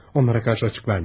Onlara qarşı açıq vermə.